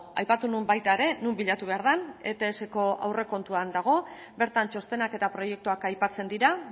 aipatu nuen baita ere non bilatu behar den etsko aurrekontuan dago bertan txostenak eta proiektuak aipatzen dira